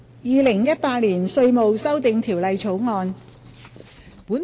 《2018年稅務條例草案》。